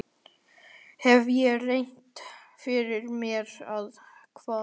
Hef ég rétt fyrir mér, eða hvað?